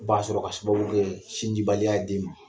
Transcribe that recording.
U b'a sɔrɔ ka sababu kɛ sin di baliya ye den ma.